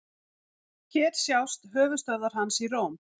Hér sjást höfuðstöðvar hans í Róm.